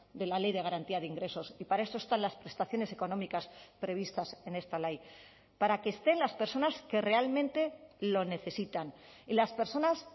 de la ley de garantía de ingresos y para esto están las prestaciones económicas previstas en esta ley para que estén las personas que realmente lo necesitan y las personas